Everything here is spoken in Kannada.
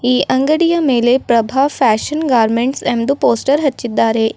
ಈ ಅಂಗಡಿಯ ಮೇಲೆ ಪ್ರಭಾ ಫ್ಯಾಷನ್ ಗಾರ್ಮೆಂಟ್ಸ್ ಎಂದು ಪೋಸ್ಟರ್ ಹಚ್ಚಿದ್ದಾರೆ.